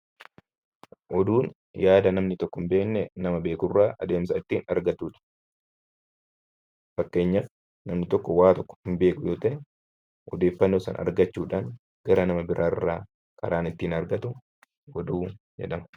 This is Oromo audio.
Oduun yaada namni tokko hin beekne adeemsa nama beekurraa ittiin argannudha. Fakkeenyaaf namni tokko waan tokko hin beeku yoo ta'e, odeeffannoo sana argachuudhaan naman biraarraa karaan ittiin argatu oduu jedhama.